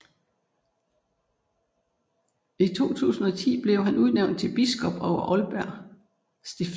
I 2010 blev han udnævnt til biskop over Aalborg Stift